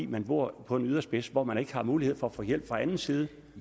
man bor på en yderspids og hvor man ikke har mulighed for at få hjælp fra anden side